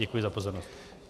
Děkuji za pozornost.